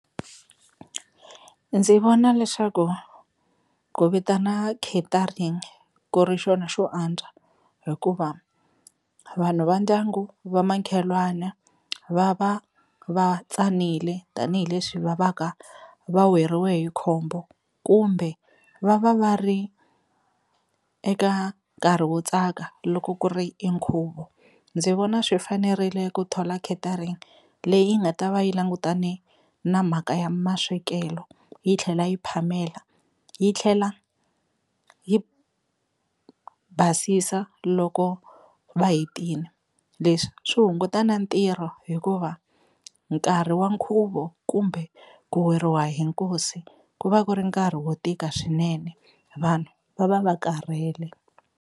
Ndzi vona leswaku ku vitana catering ku ri xona xo antswa hikuva vanhu va ndyangu va makhelwana va va va tsanile tanihileswi va va ka va weriwe hi khombo kumbe va va va ri eka nkarhi wo tsaka loko ku ri i nkhuvo, ndzi vona swi fanerile ku thola catering leyi yi nga ta va yi langutane na mhaka ya maswekelo yi tlhela yi phamela yi tlhela yi basisa loko va hetini, leswi swi hunguta na ntirho hikuva nkarhi wa nkhuvo kumbe ku weriwa hi nkosi ku va ku ri nkarhi wo tika swinene vanhu va va va karhele.